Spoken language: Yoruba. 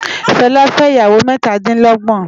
Fela fè iyáwô mètá di lògbòn